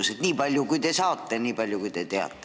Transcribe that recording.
Rääkige nii palju, kui te saate, nii palju, kui te teate.